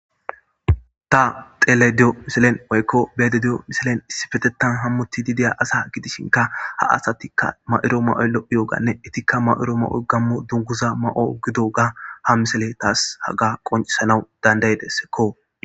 ta xelediyo misilen woykko beedediyo misilen issifetetan hammuttidi deya asa gidishinka ha asatikka ma'ido mayoyi lo'iyooganne itikka ma'iro ma'oy gammu dunguza ma'o gidoga ha miseley taas haga qoncisanaw dandaydessekko